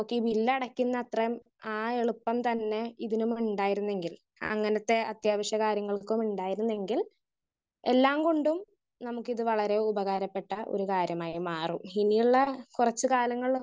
Speaker 1 ഈ bill അടക്കുന്നത്രെ ആ എളുപ്പം തന്നെ ഇതിനും ഉണ്ടായിരുന്നെങ്കിൽ അങ്ങനത്തെ അത്യാവശ്യ കാര്യങ്ങൾക്ക് ഉണ്ടായിരുന്നെങ്കിൽ എല്ലാം കൊണ്ടും നമുക്കിത് വളരെ ഉപകാരപ്പെട്ടാൽ ഒരു കാര്യമായി മാറും. ഇനിയുള്ള കുറച്ച് കാലങ്ങൾ